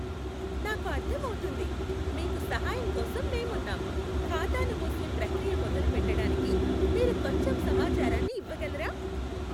నాకు అర్థమవుతుంది. మీకు సహాయంకోసం మేమున్నాం. ఖాతాను మూసే ప్రక్రియ మొదలు పెట్టడానికి మీరు కొంచెం సమాచారాన్ని ఇవ్వగలరా?